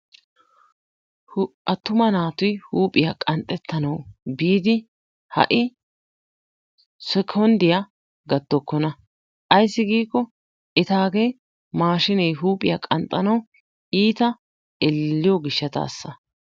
Atuma naati huuphphiya qanxxetanawu biidi ha'i sekkonddiya gattokkona. Ayssi giikko etaagee maashshinee huuphphiya qanxxanawu iita elleliyo gishshataasa.